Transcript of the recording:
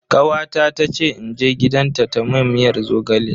Kawata ta ce in je gidanta ta mun miyar zogale.